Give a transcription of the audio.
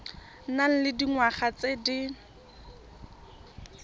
nang le dingwaga tse di